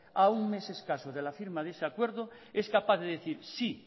a un mes escaso de la firma de ese acuerdo es capaz de decir sí